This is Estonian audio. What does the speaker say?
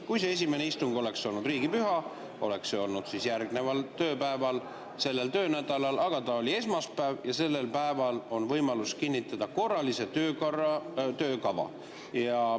Kui see esimene istung oleks olnud riigipüha, oleks see olnud järgneval tööpäeval sellel töönädalal, aga ta oli esmaspäeval ja sellel päeval on võimalus kinnitada korralises töökorras töökava.